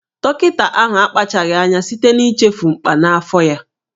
Dọkịta ahụ akpachapụghị anya site n'ichefu mkpà n'afọ ya